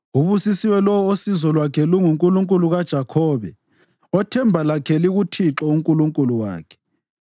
Ubusisiwe lowo osizo lwakhe lunguNkulunkulu kaJakhobe, othemba lakhe likuThixo uNkulunkulu wakhe.